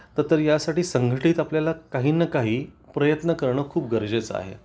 तर यासाठी संघटित आपल्याला काही न काही प्रयत्न करणं खूप गरजेचं आहे